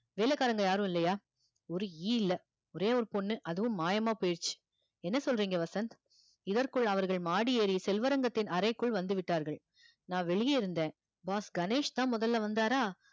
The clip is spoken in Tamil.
வேலைக்காரங்க யாரும் இல்லையா ஒரு ஈ இல்ல ஒரே ஒரு பொண்ணு அதுவும் மாயமா போயிடுச்சு என்ன சொல்றீங்க வசந்த் இதற்குள் அவர்கள் மாடி ஏறி செல்வரங்கத்தின் அறைக்குள் வந்து விட்டார்கள் நான் வெளியே இருந்தேன் boss கணேஷ் தான் முதல்ல வந்தாரா